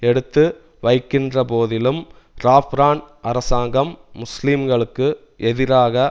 எடுத்து வைக்கின்றபோதிலும் ராஃப்ரான் அரசாங்கம் முஸ்லீம்களுக்கு எதிராக